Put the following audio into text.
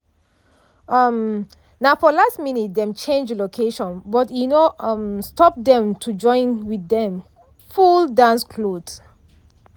um na for last minute dem change location but e no um stop dem to join with dem full dance cloth.